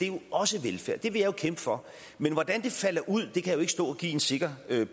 jo også velfærd og det vil jeg kæmpe for men hvordan det falder ud kan jeg ikke stå og give en sikker